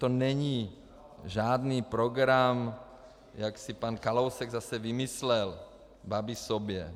To není žádný program, jak si pan Kalousek zase vymyslel, Babiš sobě.